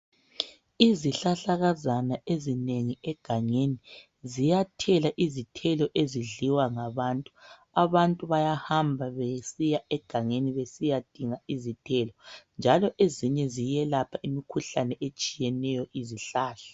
izihlahlakazana ezinengi egangeni ziyathela izithelo ezidliwa ngabantu abantu bayahamba egagangeni besiyadinga izithelo njalo ezinye ziyayelapha imikhuhlane etshiyeneyo izihlahla